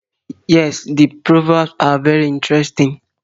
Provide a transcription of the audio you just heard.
Yes, the proverbs are very interesting